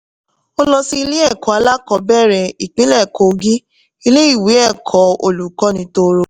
ó lọ sí ilé ẹ̀kọ́ alákọ́ bẹ̀rẹ̀ ìpínlẹ̀ kogi ilé ìwé ẹ̀kọ́ olùkọ́ni toro.